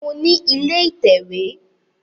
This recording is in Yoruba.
Mo ní ilé ìtẹ̀wé